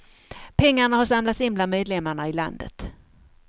Pengarna har samlats in bland medlemmarna i landet.